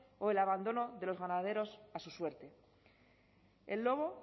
o el abandono de los ganaderos a su suerte el lobo